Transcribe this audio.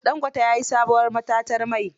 Dangote ya yi sabuwar matatar mai.